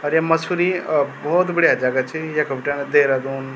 अर ये मसूरी अ भोत बढ़िया जगह च यख बटेण देहरादून।